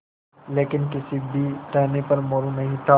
लेकिन किसी भी टहनी पर मोरू नहीं था